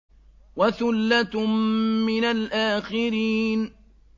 وَثُلَّةٌ مِّنَ الْآخِرِينَ